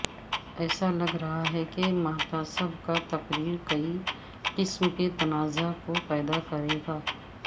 ایسا لگ رہا ہے کہ محتسب کاتقرر کئی قسم کے تنازعہ کو پیدا کرے گا